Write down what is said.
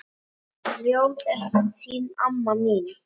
Ljóð til þín amma mín.